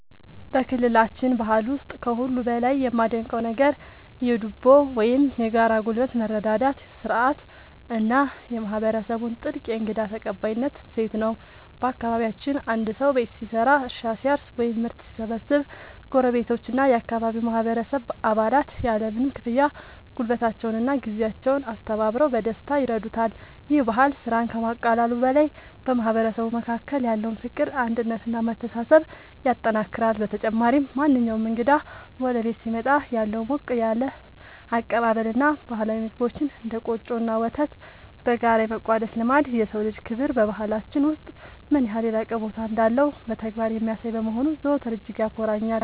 በክልላችን ባህል ውስጥ ከሁሉ በላይ የማደንቀው ነገር የ"ዱቦ" (Dubo) ወይም የጋራ ጉልበት መረዳዳት ሥርዓት እና የማህበረሰቡን ጥልቅ የእንግዳ ተቀባይነት እሴት ነው። በአካባቢያችን አንድ ሰው ቤት ሲሰራ፣ እርሻ ሲያርስ ወይም ምርት ሲሰበስብ ጎረቤቶችና የአካባቢው ማህበረሰብ አባላት ያለምንም ክፍያ ጉልበታቸውንና ጊዜያቸውን አስተባብረው በደስታ ይረዱታል። ይህ ባህል ስራን ከማቃለሉ በላይ በማህበረሰቡ መካከል ያለውን ፍቅር፣ አንድነት እና መተሳሰብ ያጠናክራል። በተጨማሪም፣ ማንኛውም እንግዳ ወደ ቤት ሲመጣ ያለው ሞቅ ያለ አቀባበል እና ባህላዊ ምግቦችን (እንደ ቆጮ እና ወተት) በጋራ የመቋደስ ልማድ፣ የሰው ልጅ ክብር በባህላችን ውስጥ ምን ያህል የላቀ ቦታ እንዳለው በተግባር የሚያሳይ በመሆኑ ዘወትር እጅግ ያኮራኛል።